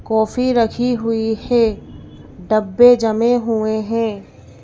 Coffee रखी हुई है डब्बे जमे हुए हैं।